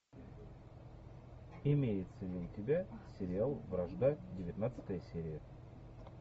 имеется ли у тебя сериал вражда девятнадцатая серия